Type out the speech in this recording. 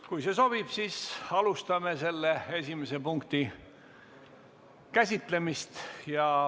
Kui see sobib, siis alustame esimese punkti käsitlemist.